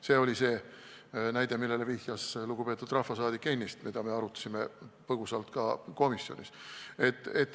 See oli see näide, millele ennist vihjas lugupeetud rahvasaadik, me arutasime seda põgusalt ka komisjonis.